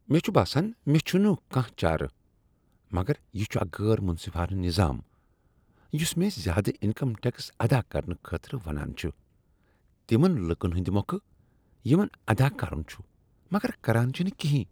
مےٚ چھ باسان مےٚ چھنہٕ کانٛہہ چارٕ، مگر یہ چھ اکھ غیر منصفانہٕ نظام یس مےٚ زیادٕ انکم ٹیکس ادا کرنہٕ خٲطرٕ ونان چھ تمن لوکن ہندِ مۄکھٕ یمن ادا کرُن چھ، مگر کران چھنہٕ کینٛہہ۔